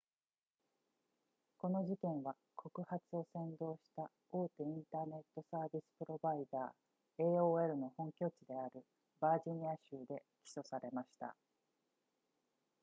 この事件は告発を扇動した大手インターネットサービスプロバイダー aol の本拠地であるバージニア州で起訴されました